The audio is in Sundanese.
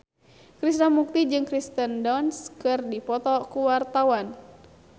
Krishna Mukti jeung Kirsten Dunst keur dipoto ku wartawan